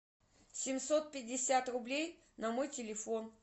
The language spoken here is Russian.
семьсот пятьдесят рублей на мой телефон